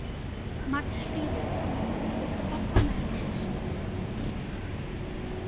Magnfríður, viltu hoppa með mér?